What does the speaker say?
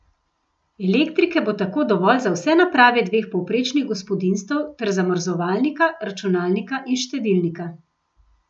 Elektrike bo tako dovolj za vse naprave dveh povprečnih gospodinjstev ter zamrzovalnika, računalnika in štedilnika.